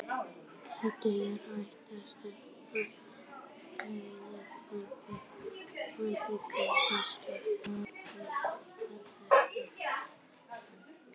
Þetta er æðisleg stelpa, sagði Frammarinn og var greinilega stoltur af því að þekkja hana.